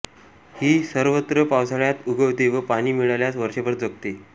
ही सर्वत्र पावसाळ्यांत उगवते व पाणी मिळाल्यास वर्षभर जगते